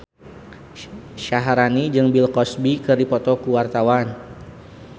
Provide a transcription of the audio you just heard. Syaharani jeung Bill Cosby keur dipoto ku wartawan